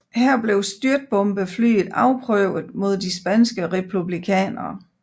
Her blev styrtbombeflyet afprøvet mod de spanske republikanere